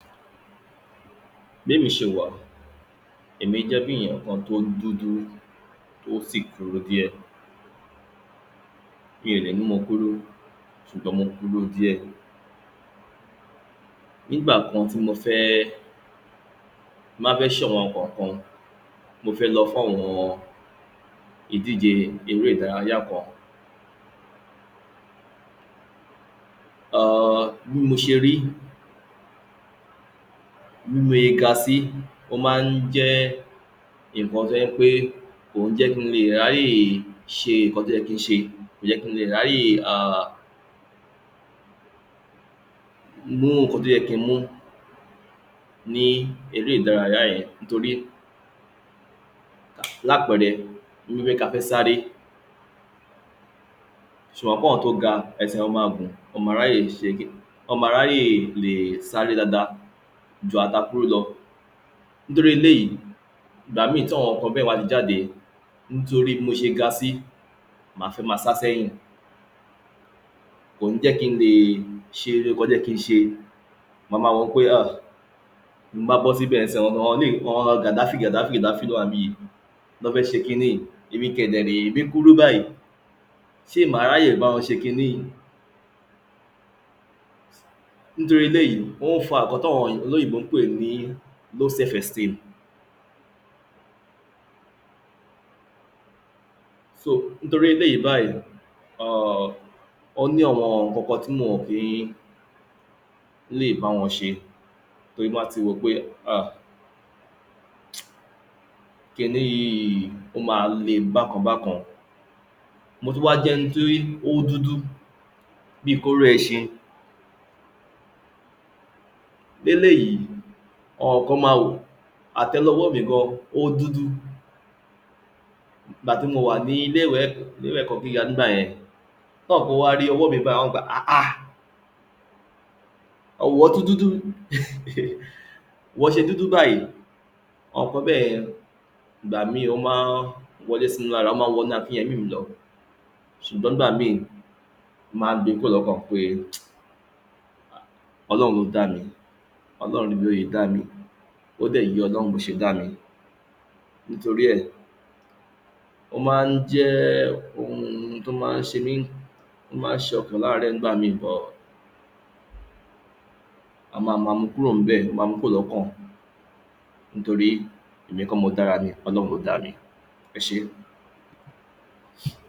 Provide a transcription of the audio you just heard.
Bémi ṣe wà, èmi jẹ́ bí èyàn kan tó dúdú, tó sì kúrú díè. Mi ò lè ní mo kúrú, sùgbọ́n mo kúrú díè. Nígbà kan tí mo fẹ́ ẹ́, tí n bá fẹ́ ṣe àwon ǹkan kan, mo fẹ́ lọ fàwọn ìdíje eré ìdárayá kan. um Bí mo ṣe rí, bí mo ye ga sí, ó máa ń jẹ́ nǹkan tó jẹ́ pé, kó ń jẹ́ kí n lè ráyè sẹ nǹkan tó yẹ kí n sẹ. Kò jẹ́ kí in lè ráyè, mú nǹkan tó yẹ kí n mú ní eré ìdárayá yẹn. Nítorí lápẹẹrẹ, bíi pé ka fẹ́ sáré, ṣo mọ̀ pe àwọn tó ga, ẹsẹ̀ wọn máa gùn, wọ́n máa ráyè ṣe, wọ́n ma ráyè lè um sáré dáadáa ju àwa táa kúrú lọ. Nítorí eléyìí, ìgbà míì tí àwọn nǹkan bẹ́ẹ̀ bá ti jáde, nítorí bí mo sẹ ga sí, màá fẹ́ máa sá sẹ́yìn, kò ń jẹ́ kí n lè sẹ nǹkan tó yẹ kí n sẹ. Mà máa wò pé à, tí n bá bọ́ síbẹ̀ ńsìyí, àwọn eléyìí, àwọn gàdáfì gàdáfì ló wà níbì yìí, ni wọ́n fẹ́ ṣe ki ní yìí. Èmi kẹ̀dẹ̀ rèé, èmi kúrú báyìí. Sé mà á ráyè báwọn ṣe ki ní yìí. Nítorí eléyìí ó ń fà ǹkan tí àwọn olóyìnbó ń pé ní low self esteem. So, nítorí eléyìí báyìí um, ó ní àwọn nǹkan kan tí mi ò kí n lè bá wọn ṣe. Torí tí n bá ti wo pé, à ki ní yìí, ó máa le bákan bákan. Mo tún wá jẹ́ ẹni tí ó dúdú bíi kóró iṣin. Bí ẹ̀lèyìí, àwọn kan máa wò àtélewọ́ mi gan-an, ó dúdú. Ìgbà tí mo wá ní ìlé-ìwé ẹ̀kọ́ gíga, nígbà yẹn, táwọn kan bá rí ọwọ́ mi báìí, wọ́n á wí pé àháà, ìwọ́ tún dúdú, ìwọ́ ṣe dúdú báyìí. Àwọn nǹkan bẹ́yẹn, ìgbà míì ó máa ń wọlé sími lára. Ó máa ń wọnú akínyemí mi lọ. Ṣùgbọ́n nígbà míi mo máa ń gbe kúrò lọ́kàn pé um, Ọlọ́run ló dá mi. Ọlọ́run ní bí ó ṣe dá mi. Ó dẹ̀ yé Ọlọ́run bó ṣe dá mi. Nítorí ẹ̀, ó maá n jẹ́ oun tó máa ń ṣe mi, tó máa ń ṣe ọkán láàárẹ̀ nígbà míì but a máa máa mú u kúrò nìbẹ̀, a máa mú u kúrò lọ́kàn. Nítorí ẹmi kọ́ ni mo dá ara mi. Ọlọ́run ló dá mi, ẹ ṣẹ́.